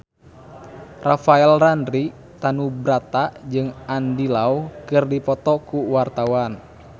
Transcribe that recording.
Rafael Landry Tanubrata jeung Andy Lau keur dipoto ku wartawan